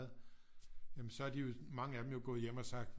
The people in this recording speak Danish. Jamen så er de jo mange af dem jo gået hjem og sagt